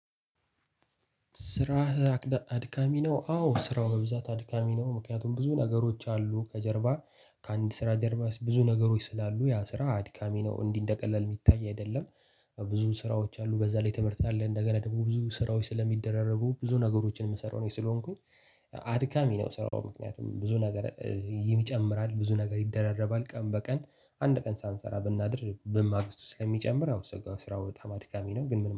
ስራህ አድካሚ ነው? አዎ ስራው በብዛት አድካሚ ነው ምክንያቱም ብዙ ነገሮች አሉ ከጀርባ ከአንድ ስራ ጀርባ ብዙ ነገሮች ስላሉ ያ ስራ አድካሚ ነው እንዲህ እንደቀላል ሚታይ አይደለም። ብዙ ስራዎች አሉ በዛ ላይ ትምህርት አለ እንደገና ደግሞ ብዙ ስራዎች ስለሚደራረቡ ብዙ ነገሮችን የምሰራው እኔ ስለሆንኩኝ አድካሚ ነው። ስራው ምክንያቱም ብዙ ነገር ይጨምራል ብዙ ነገር ይደራረባል ቀን በቀን አንድ ቀን ሳንሰራ ብናድር በማግስቱ ስለሚጨምር አው ስራው በጣም አድካሚ ነው። ግን ምን